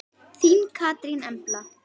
Þín Katrín Embla.